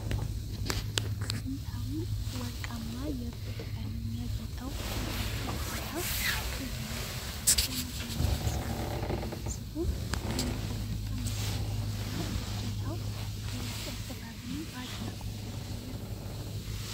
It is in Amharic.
በጥንታዊው ወርቃማ የብረት ቀለም ያጌጠው የበር እጀታ ልዩ ነው። ገመድ የሚመስል ንድፍ ያለው ሲሆን፣ የመቆለፊያ መሣሪያውና እጀታው የላቀ ጥበብን በአድናቆት ያሳያል።